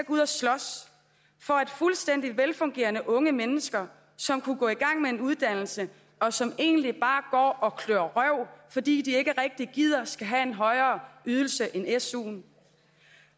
ud og slås for at fuldstændig velfungerende unge mennesker som kunne gå i gang med en uddannelse og som egentlig bare går og klør røv fordi de ikke rigtig gider skal have en højere ydelse end suen